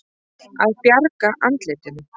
Að bjarga andlitinu